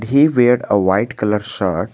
He weared a white colour shirt.